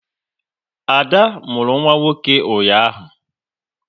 Ada mụrụ nwa nwoke ụnyaahụ